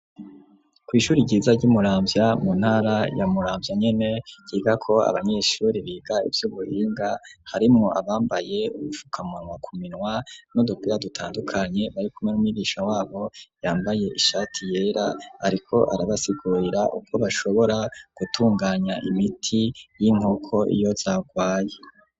Kw'ishure ryiza ry'i Muramvya mu ntara ya Muramvya nyene, ryigako abanyeshure biga ivy'uburinga, harimwo abambaye ubufukamunwa ku minwa, n'udupira dutandukanye barikumwe n'umwigisha wabo, yambaye ishati yera, ariko arabasigurira uko bashobora, gutunganya imiti, y'inkoko iyo zagwaye.